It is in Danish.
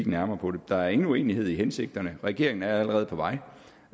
nærmere på det der er ingen uenighed om hensigterne og regeringen er allerede på vej